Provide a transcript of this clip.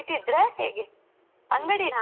ನಂದೂ shop ಇತ್ತೂ.